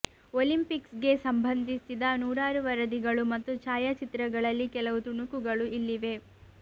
ಒಲಿಂಪಿಕ್ಸ್ಗೆ ಸಂಬಂಧಿಸಿದ ನೂರಾರು ವರದಿಗಳು ಮತ್ತು ಛಾಯಾಚಿತ್ರಗಳಲ್ಲಿ ಕೆಲವು ತುಣುಕುಗಳು ಇಲ್ಲಿವೆ